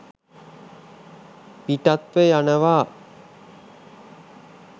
පිටත්ව යනවා